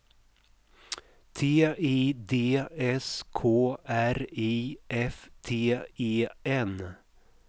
T I D S K R I F T E N